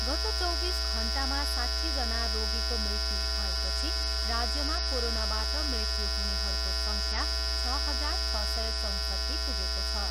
गत चौबिस घन्टामा साट्ठीजना रोगीको मृत्यु भएपछि राज्यमा कोरोनाबाट मृत्यु हुनेहरूको सङ्ख्या छ हजार छ सय चौँसट्ठी पुगेको छ।